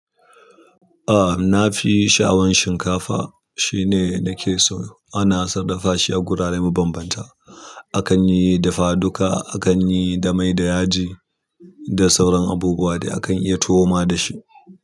Ah na fi sha'awan shinkafa shine nake so ana sarrafa shi a gurare mabambanta. Akan yi dafa duka, akan yi da mai da yaji da sauran abubuwa dai akan iya tuwo ma da shi.